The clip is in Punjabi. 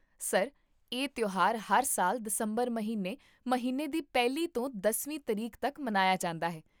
ਸਰ, ਇਹ ਤਿਉਹਾਰ ਹਰ ਸਾਲ ਦਸੰਬਰ ਮਹੀਨੇ ਮਹੀਨੇ ਦੀ ਪਹਿਲੀ ਤੋਂ ਦਸਵੀਂ ਤਰੀਕ ਤੱਕ ਮਨਾਇਆ ਜਾਂਦਾ ਹੈ